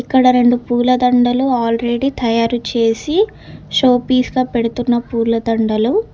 ఇక్కడ రెండు పూల దండలు ఆల్రెడీ తయారు చేసి షోపీస్ గా పెడుతున్న పూలదండలు.